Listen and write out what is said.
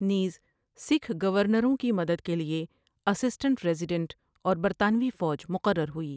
نیز سکھ گورنروں کی مدد کے لیے اسسٹنٹ ریزیڈنٹ اور برطانوی فوج مقرر ہوئی ۔